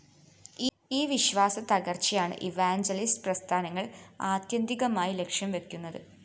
ഈ വിശ്വാസത്തകര്‍ച്ചയാണ് ഇവാഞ്ചലിസ്റ്റ്‌ പ്രസ്ഥാനങ്ങള്‍ ആത്യന്തികമായി ലക്ഷ്യംവയ്ക്കുന്നത്